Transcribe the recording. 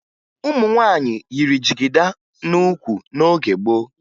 Ụmụ nwaanyị yiri jigida n'ukwu n'oge gboo